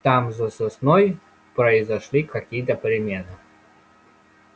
там за сосной произошли какие то перемены